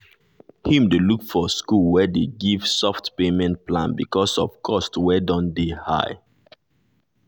him dey look for school wey dey give soft payment plan because of cost wey dun dey dun dey high.